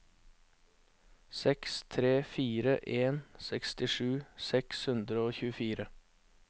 seks tre fire en sekstisju seks hundre og tjuefire